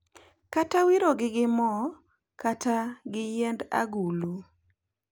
Kata wirogi gi mo kata gi yiend agulu.